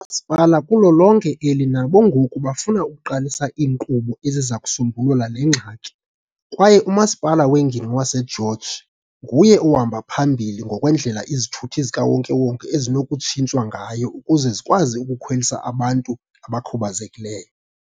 masipala kulo lonke eli nabo ngoku bafuna ukuqalisa iinkqubo eziza kusombulula le ngxaki. Kwaye uMasipala weNgingqi waseGeorge nguye ohamba phambili ngokwendlela izithuthi zikawonke-wonke ezinokutshintshwa ngayo ukuze zikwazi ukukhwelisa abantu abakhubazekileyo.